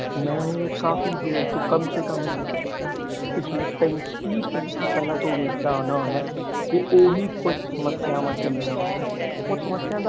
ਮੈਂ ਇਹ ਕਾਫੀ ਦੇਰ ਤੋਂ ਕੰਮ ਸੇ ਕੰਮ ਪਿਛਲੇ ਤੀਹ ਪੈਂਤੀ ਸਾਲ ਤੋਂ ਵੈਖਦਾ ਆਉਦਾ ਤੇ ਓਹੀ ਕੁੱਛ ਸਮਸਿਆਵਾਂ ਚਲਿਆ ਆਉਂਦੀਆਂ ਉਹ ਸਮੱਸਿਆ ਦਾ।